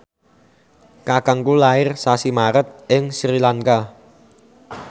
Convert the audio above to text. kakangku lair sasi Maret ing Sri Lanka